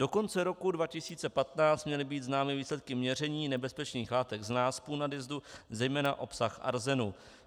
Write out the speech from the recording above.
Do konce roku 2015 měly být známy výsledky měření nebezpečných látek z náspů nadjezdu, zejména obsah arzénu.